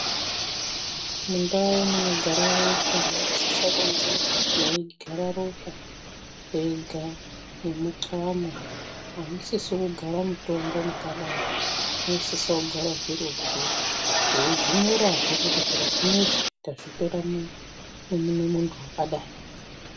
Mundawu munogara ropa munosise kunge meigara ropa rega nemucamo amusisi kugara mutombo mwakadaro munosisa kugara zviro zvoo veyi zvinyorawo futhi kuti zviro zvinezvi tavitora mumundu wakadai.